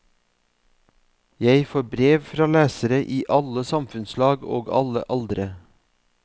Jeg får brev fra lesere i alle samfunnslag og alle aldre.